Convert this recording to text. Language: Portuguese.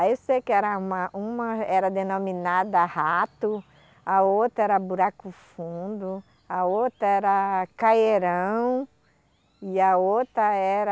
Aí eu sei que era uma uma era denominada rato, a outra era buraco fundo, a outra era caierão, e a outra era...